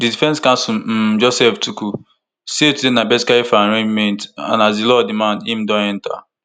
di defense counsel um joseph tukur say today na basically for arraignment and as di law demand im don enta